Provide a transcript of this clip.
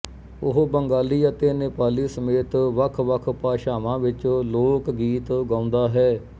ਉਹ ਬੰਗਾਲੀ ਅਤੇ ਨੇਪਾਲੀ ਸਮੇਤ ਵੱਖ ਵੱਖ ਭਾਸ਼ਾਵਾਂ ਵਿੱਚ ਲੋਕ ਗੀਤ ਗਾਉਂਦਾ ਹੈ